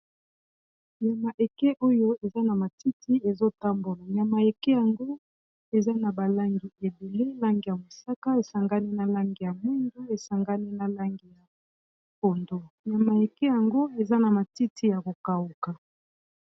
Nyama eke oyo eza na matiti ezotambola nyama eke yango eza na balangi ebele langi ya mosaka esangani na langi ya mwindu esangani na langi ya pondu nyama eke yango eza na matiti ya kokawuka